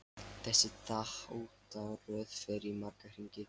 Þessi þáttaröð fer í marga hringi.